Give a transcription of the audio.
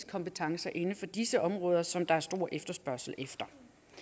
kompetencer inden for disse områder som der er stor efterspørgsel efter